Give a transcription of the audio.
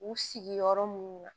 U sigiyɔrɔ munnu na